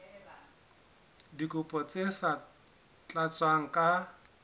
dikopo tse sa tlatswang ka